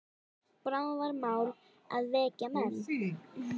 Bráðum var mál að vekja menn.